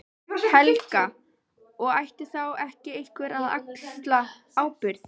Helga: Og ætti þá ekki einhver að axla ábyrgð?